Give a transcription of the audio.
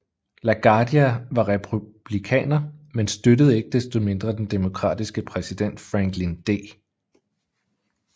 LaGuardia var republikaner men støttede ikke desto mindre den demokratiske præsident Franklin D